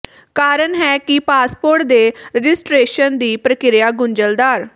ਕਾਰਨ ਹੈ ਕਿ ਪਾਸਪੋਰਟ ਦੇ ਰਜਿਸਟਰੇਸ਼ਨ ਦੀ ਪ੍ਰਕਿਰਿਆ ਗੁੰਝਲਦਾਰ